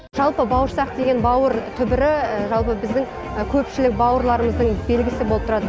жалпы бауырсақ деген бауыр түбірі жалпы біздің көпшілік бауырларымыздың белгісі болып тұрады